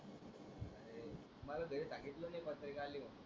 मला घरी सांगितल नाही पत्रिका आली म्हणुन